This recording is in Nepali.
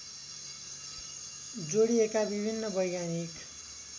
जोड़िएका विभिन्न वैज्ञानिक